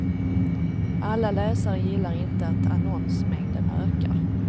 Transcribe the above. Alla läsare gillar inte att annonsmängden ökar.